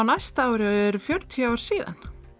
næsta ári eru fjörutíu ár síðan